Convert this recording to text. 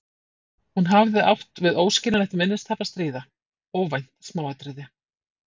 Hún hafði átt við óskiljanlegt minnistap að stríða: óvænt smáatriði.